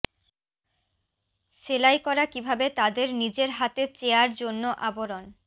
সেলাই করা কিভাবে তাদের নিজের হাতে চেয়ার জন্য আবরণ